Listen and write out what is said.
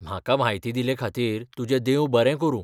म्हाका म्हायती दिल्लेखातीर तुजें देव बरें करूं.